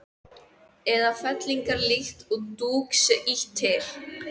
eða fellingar líkt og dúk sé ýtt til.